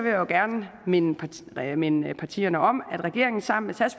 jo gerne minde partierne minde partierne om at regeringen sammen